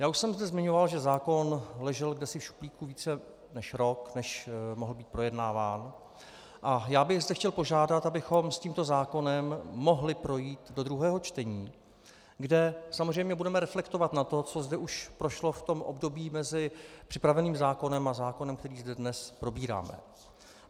Já už jsem zde zmiňoval, že zákon ležel kdesi v šuplíku více než rok, než mohl být projednáván, a já bych zde chtěl požádat, abychom s tímto zákonem mohli projít do druhého čtení, kde samozřejmě budeme reflektovat na to, co zde už prošlo v tom období mezi připraveným zákonem a zákonem, který zde dnes probíráme.